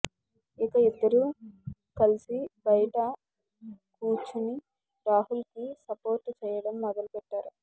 ఇక ఇద్దరూ కల్సి బయట కూచుని రాహుల్ కి సపోర్ట్ చేయడం మొదలు పెట్టారు